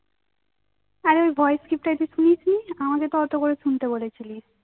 অরে ওই voice script শুনিসনি আমাকে তো অত করে শুনতে বলেছিলি